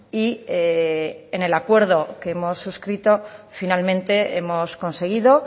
y en el acuerdo que hemos suscrito finalmente hemos conseguido